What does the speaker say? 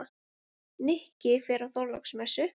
Nikki fer á Þorláksmessu.